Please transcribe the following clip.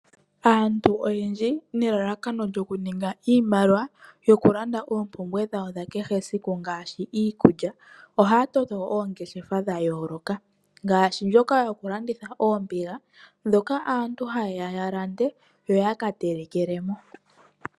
Aantu oyendji nelalakano lyokuninga iimaliwa yokulanda oompumbwe dhawo dha kehe esiku ngaashi iikulya, ohaya toto oongeshefa dha yooloka ngaashi dhokulanditha oombiga ndhoka aantu haya landa ya kateleke mo.